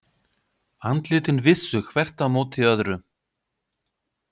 Andlitin vissu hvert á móti öðru.